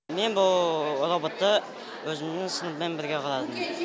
мен бұл роботты өзімің сыныбыммен бірге құрадым